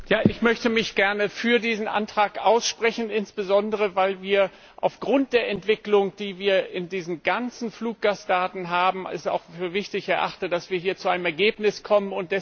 Ich möchte mich gerne für diesen Antrag aussprechen, insbesondere weil ich es, aufgrund der Entwicklung, die wir in diesen ganzen Fluggastdaten haben, für wichtig erachte, dass wir hier zu einem Ergebnis kommen.